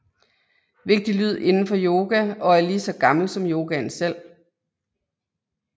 Vigtig lyd inden for yoga og er lige så gammel som yogaen selv